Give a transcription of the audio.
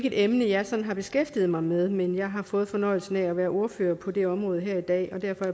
et emne jeg sådan har beskæftiget mig med men jeg har fået fornøjelsen af at være ordfører på det område her i dag og derfor